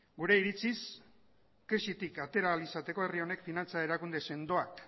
gure iritziz krisitik atera ahal izateko herri honek finantza erakunde sendoak